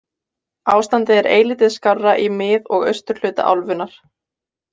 Ástandið er eilítið skárra í mið- og austurhluta álfunnar.